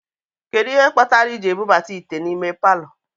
Kedu ihe kpatara I ji ebubata ite n'ime palọ?